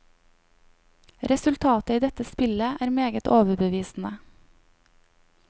Resultatet i dette spillet er meget overbevisende.